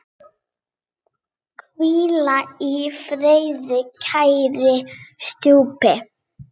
Hvíl í friði, kæri stjúpi.